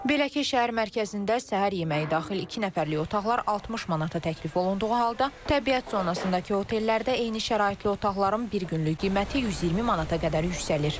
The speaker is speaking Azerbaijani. Belə ki, şəhər mərkəzində səhər yeməyi daxil iki nəfərlik otaqlar 60 manata təklif olunduğu halda, təbiət zonasındakı hotellərdə eyni şəraitli otaqların bir günlük qiyməti 120 manata qədər yüksəlir.